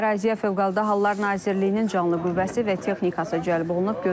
Əraziyə Fövqəladə Hallar Nazirliyinin canlı qüvvəsi və texnikası cəlb olunub.